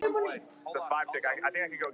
Þá hló amma Anna dátt.